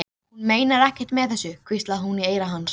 Hún meinar ekkert með þessu, hvíslaði hún í eyra hans.